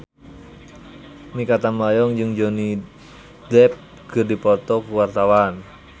Mikha Tambayong jeung Johnny Depp keur dipoto ku wartawan